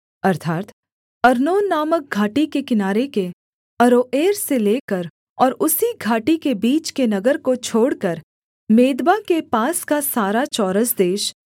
अर्थात् अर्नोन नामक घाटी के किनारे के अरोएर से लेकर और उसी घाटी के बीच के नगर को छोड़कर मेदबा के पास का सारा चौरस देश